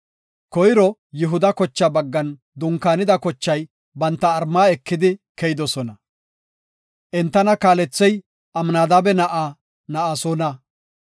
Koyro Yihuda kochaa baggan dunkaanida kochay banta mala ekidi keyidosona. Entana kaalethey Amnadaabe na7aa Na7asoona.